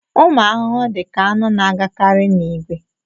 Ụmụ arụrụ dị ka aṅụ na-agakarị n'ìgwè